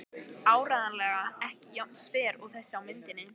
Áreiðanlega ekki jafn sver og þessi á myndinni.